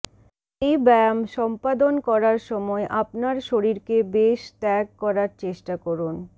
এই ব্যায়াম সম্পাদন করার সময় আপনার শরীরকে বেশ ত্যাগ করার চেষ্টা করুন